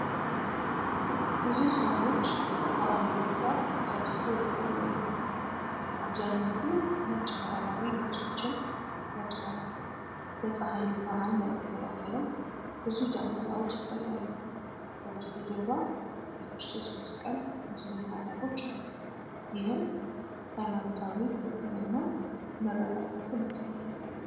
ብዙ ሰዎች በአንድ ቦታ ተሰብስበው ይታያሉ። አብዛኞቹ ነጭ ባህላዊ ልብሶችን ለብሰዋል። የፀሐይን ብርሃን ለመከላከልም ብዙ ጃንጥላዎች ይታያሉ። ከበስተጀርባ የክርስቶስ መስቀል ምስልና ዛፎች አሉ። ይህም ሃይማኖታዊ ፍቅርን እና መረጋጋትን ያሳያል።